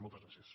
moltes gràcies